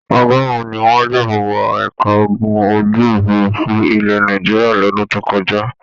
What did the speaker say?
Ọgọrùn ní wọn gbà wọ ẹ̀ka ogun ojú-òfurufú ilẹ̀ Nàìjíríà lọ́dún tó kọjá.